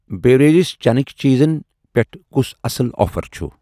Barrier چیٖٚنٕکۍ چیٖزن پٮ۪ٹھ کُس اصل آفر چھُ؟